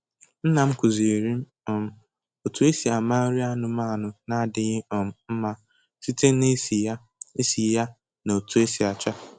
Nnam kuziiri m um otu esi ama nri anụmanụ na adịghị um mma site na isi ya isi ya na otu o si acha